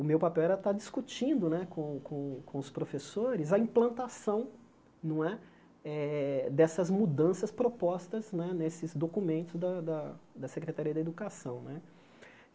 o meu papel era estar discutindo né com com com os professores a implantação não é eh dessas mudanças propostas né nesses documentos da da da Secretaria da Educação né.